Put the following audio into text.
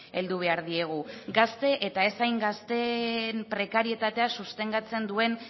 heldu behar diegu gazte eta ez hain gazteen prekarietatea sostengatzen duen